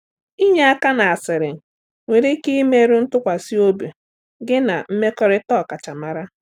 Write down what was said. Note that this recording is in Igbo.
Ịnye aka n’asịrị nwere ike imerụ ntụkwasị obi gị na mmekọrịta ọkachamara.